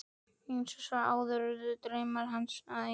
En eins og svo oft áður urðu draumar hans að engu.